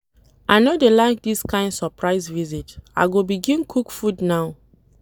I no dey like dis kain surprise visit, I go begin cook food now.